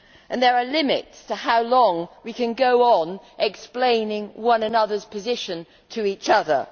There are limits to how long we can go on explaining one another's position to each other.